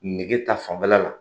Nege taa fanfɛla la.